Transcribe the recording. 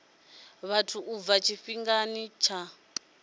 vhathu u bva tshifhingani tsha